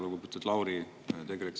Lugupeetud Lauri!